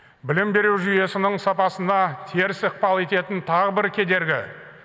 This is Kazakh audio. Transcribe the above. білім беру жүйесінің сапасына теріс ықпал ететін тағы бір кедергі